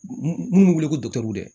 Mun minnu bɛ wele ko